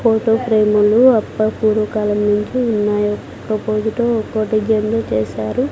Photo ఫ్రేములు అప్ప పూర్వకాలం నుంచి ఉన్నాయి ఒక్కొకటి ఒక్కో డిజైన్ లో చేశారు.